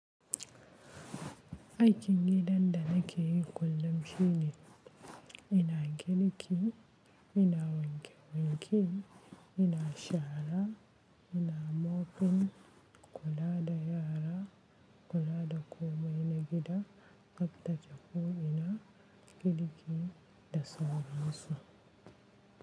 Aikin gidan da nake yi kullum shine. Ina girki, ina wanke wanke, ina shara, ina mopin, kula da yara, kula da komai na gida, tsaftace ko ina, girki da sauran su.